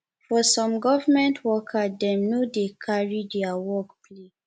for some government worker dem no dey carry their work play